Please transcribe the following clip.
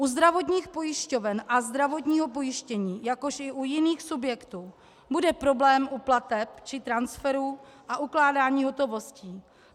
U zdravotních pojišťoven a zdravotního pojištění, jakož i u jiných subjektů bude problém u plateb či transferu a ukládání hotovostí.